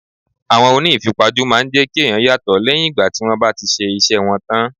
Àwọn oní ìfipajú máa ń jẹ́ kí ẹ̀yàn yàtò lẹ́yìn ìgbà tí wón bá ti ṣe iṣẹ́ wọn tán.